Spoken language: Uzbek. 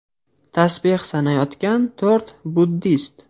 Tasbeh sanayotgan to‘rt buddist.